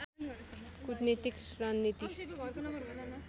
कुटनीतिक रणनीति